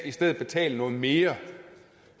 i stedet betale noget mere